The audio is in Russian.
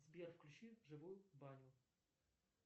сбер включи живую баню